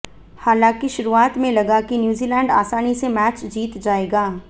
हालांकि शुरुआत में लगा कि न्यूजीलैंड आसानी से मैच जीत जाएगा